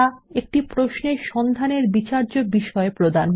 একটি প্রশ্নে সন্ধানের বিচার্য বিষয় প্রদান করা